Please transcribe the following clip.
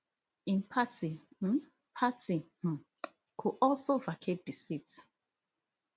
im party um party um go also vacate di seat